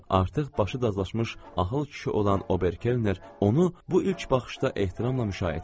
Artıq başı dazlaşmış axıl kişi olan Ober-Kelner onu bu ilk baxışda ehtiramla müşayiət eləyirdi.